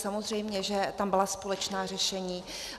Samozřejmě že tam byla společná řešení.